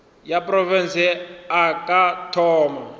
ya profense a ka thoma